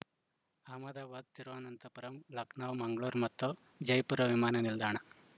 ಅಹಮದಾಬಾದ್‌ ತಿರುವನಂತಪುರಂ ಲಖನೌ ಮಂಗಳೂರು ಮತ್ತು ಜೈಪುರ ವಿಮಾನ ನಿಲ್ದಾಣ